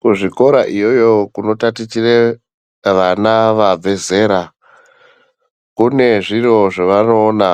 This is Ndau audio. Kuzvikora iyoyo kunotatichire vana vabve zera kune zviro zvevanoona